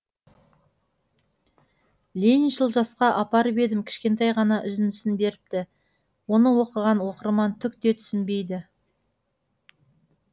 лениншіл жасқа апарып едім кішкентай ғана үзіндісін беріпті оны оқыған оқырман түк те түсінбейді